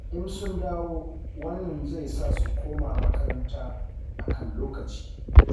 In sun dawo, wannan zai sa su koma makaranta a kan lokaci.